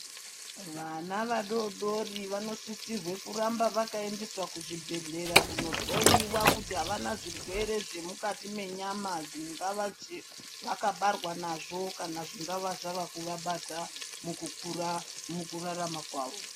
Vana vadoodori vanosisirwe kuramba vakaendeswa kuzvibhehlera kundohloyiwa kuti havana zvirwere zvemukati menyama dzingava vakabarwa nazvo kana zvingava zvavakuvabata mukukura mukurarama kwavo.